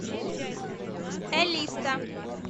элиста